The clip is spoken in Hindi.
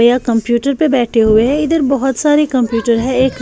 यहां कंप्यूटर पे बैठे हुए है इधर बहोत सारी कंप्यूटर है एक--